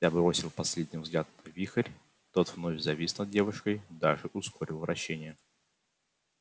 я бросил последний взгляд на вихрь тот вновь завис над девушкой даже ускорил вращение